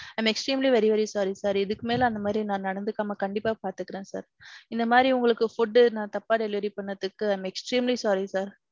I am extremely very very sorry sir. இதுக்கு மேல நான் அந்த மாறி நடந்துக்காம நான் கண்டிப்பா பாத்துக்குறேன் sir. இந்த மாதிரி உங்களுக்கு food நா தப்பா delivery பண்ணதுக்கு i am extremely sorry sir.